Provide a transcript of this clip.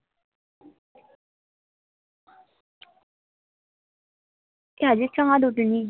আজকে চাঁদ ওঠেনি